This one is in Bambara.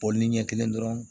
ni ɲɛ kelen dɔrɔn